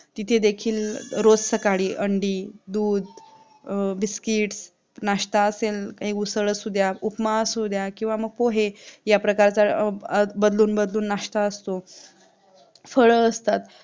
तिथे देखील रोज सकाळी अंडी, दूध, biscuits, नाश्ता असेल काही उचल असू द्या, उपमा असू द्या किंवा मग पोहे या प्रकारचा बदलून-बदलून नाश्ता असत फळ असतात